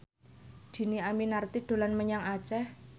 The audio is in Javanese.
Dhini Aminarti dolan menyang Aceh